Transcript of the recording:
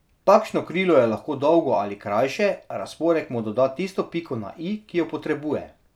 Takšno krilo je lahko dolgo ali krajše, razporek mu doda tisto piko na i, ki jo potrebuje.